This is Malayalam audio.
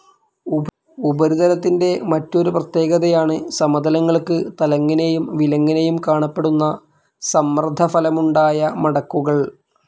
ഉപരിതലത്തിൻ്റെ മറ്റൊരു പ്രത്യേകതയാണ് സമതലങ്ങൾക്ക് തലങ്ങനേയും വിലങ്ങനേയും കാണപ്പെടുന്ന സമ്മർദ്ദഫലമായുണ്ടായ മടക്കുകൾ.